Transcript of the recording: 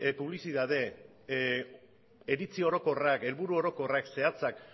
publizitate iritzi orokorrak helburu orokorrak zehatzak